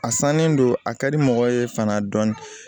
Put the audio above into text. A sannen don a ka di mɔgɔ ye fana dɔɔni